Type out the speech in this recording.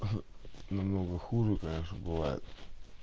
намного хуже конечно бывает